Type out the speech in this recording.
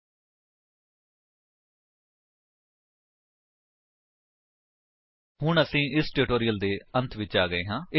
http spoken tutorial org ਨਮੈਕਟ intro ਹੁਣ ਅਸੀ ਇਸ ਟਿਊਟੋਰਿਅਲ ਦੇ ਅੰਤ ਵਿੱਚ ਆ ਗਏ ਹਾਂ